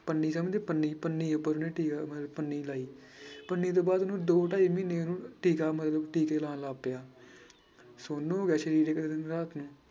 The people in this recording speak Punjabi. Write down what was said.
ਪੰਨੀ ਸਮਝਦੇ ਪੰਨੀ ਪੰਨੀ ਪੰਨੀ ਲਾਈ ਪੰਨੀ ਤੋਂ ਬਾਅਦ ਉਹਨੂੰ ਦੋ ਢਾਈ ਮਹੀਨੇ ਉਹਨੂੰ ਟੀਕਾ ਮਤਲਬ ਟੀਕੇ ਲਾਉਣ ਲੱਗ ਪਿਆ ਸੁੰਨ ਹੋ ਗਿਆ ਸਰੀਰ ਇੱਕ ਦਿਨ ਰਾਤ ਨੂੰ।